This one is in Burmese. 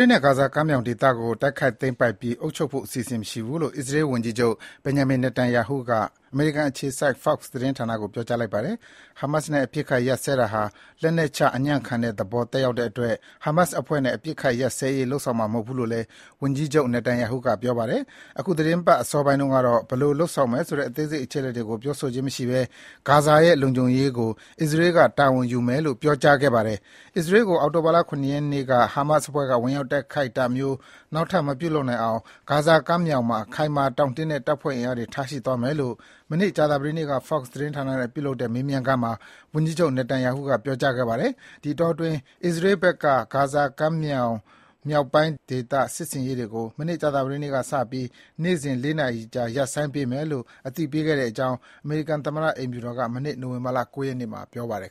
ေနဲ့ ဂါဇာကမ်းမြောင်ဒေသကို တိုက်ခိုက်သိမ်းပိုက်ပြီး အုပ်ချုပ်ဖို့ စိတ်မဝင်စားဘူးလို့ အစ္စရေးဝန်ကြီးချုပ် Benjamin Netanyahu က အမေရိကန်အခြေစိုက် Fox သတင်းဌာနကို ပြောကြားလိုက်ပါတယ်။ ဟာမတ်နဲ့အပစ်အခတ် ရပ်စဲတာဟာ လက်နက်ချ အညံ့ခံတဲ့သဘော သက်ရောက်တဲ့အတွက် ဟာမတ်အဖွဲ့နဲ့ အပစ်အခတ်ရပ်စဲရေး လုပ်ဆောင်မှာမဟုတ်ဘူးလို့လည်း ဝန်ကြီးချုပ် Netanyahu က ပြောပါတယ်။ အခုသီတင်းပတ် အစောပိုင်းတုန်းကတော့ ဘယ်လိုလုပ်ဆောင်မယ်ဆိုတဲ့ အသေးစိတ်အချက်အလက်တွေကို ပြောဆိုခြင်းမရှိဘဲ ဂါဇာရဲ့ လုံခြုံရေးကို အစ္စရေးကတာဝန်ယူမယ်လို့ ပြောကြားခဲ့ပါတယ်။ အစ္စရေးကို အောက်တိုဘာ ၇ ရက်နေ့က ဟာမတ်အဖွဲ့က ဝင်ရောက်တိုက်ခိုက်တာမျိုး နောက်ထပ် မပြုလုပ်နိုင်အောင် ဂါဇာကမ်းမြောင်မှာ ခိုင်မာတောင့်တင်းတဲ့ တပ်ဖွဲ့အင်အားတွေ ထားရှိသွားမယ်လို့ မနေ့ ကြာသပတေးနေ့က Fox သတင်းဌာနနဲ့ပြုလုပ်တဲ့ မေးမြန်းခန်းမှာ ဝန်ကြီးချုပ် Netanyahu က ပြောကြားခဲ့ပါတယ်။ ဒီအတောအတွင်း အစ္စရေးဘက်က ဂါဇာမြောက်ပိုင်းဒေသ စစ်ဆင်ရေးတွေကို မနေ့ကြာသပတေးနေ့ကစပြီး နေ့စဉ် လေးနာရီကြာ ရပ်ဆိုင်းပေးမယ်လို့ အသိပေးခဲ့ကြောင်း အမေရိကန်သမ္မတအိမ်ဖြူတော်က မနေ့နိုဝင်ဘာ ၉ ရက်နေ့မှာ ပြောပါတယ်